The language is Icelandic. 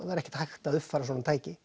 það er ekkert hægt að uppfæra svona tæki